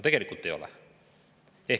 Tegelikult ei ole.